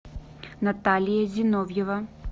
наталья зиновьева